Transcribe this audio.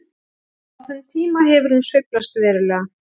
Á þeim tíma hefur hún sveiflast verulega.